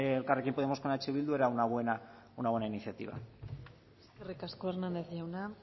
elkarrekin podemos con eh bildu era una buena iniciativa eskerrik asko hernández jauna